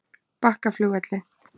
Bakkaflugvelli